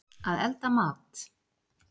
Að elda mat.